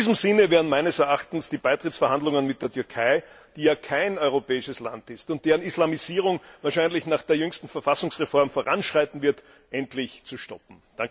In diesem Sinne wären meines Erachtens die Beitrittsverhandlungen mit der Türkei, die ja kein europäisches Land ist und deren Islamisierung wahrscheinlich nach der jüngsten Verfassungsreform voranschreiten wird, endlich zu stoppen.